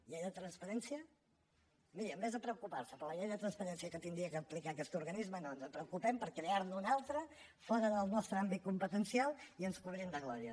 llei de transparència miri en comptes de preocupar se per la llei de transparència que hauria d’aplicar aquest organisme no ens preocupem per crear ne una altra fora del nostre àmbit competencial i ens cobrim de glòria